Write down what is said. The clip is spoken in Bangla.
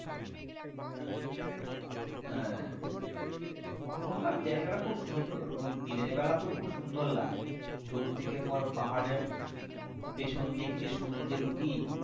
হ্যাঁ ওখানকার জায়গা টা খুব সুন্দর আর দিনের বেলা তো খুব সুন্দর লাগে দূর থেকে তোমার পাহাড়ের পেছন দিক দিয়ে সূর্যের উঁকি,